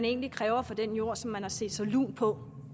egentlig kræves for den jord som man har set sig lun på